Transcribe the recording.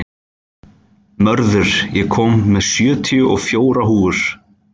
Mörður, ég kom með sjötíu og fjórar húfur!